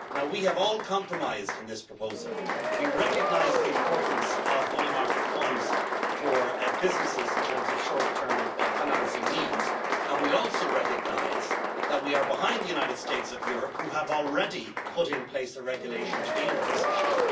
We have all compromised in this proposal. We recognise the importance of money market funds for businesses in terms of short term financing needs, and we also recognise that we are behind the United States, who have already put in place a regulation to deal with this issue.